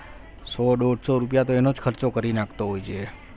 સો દોડસો રૂપિયા તો એનો જ ખર્ચો કરી નાખતો હોય છે એનો જ ખર્ચો કરી નાખતો હોય છે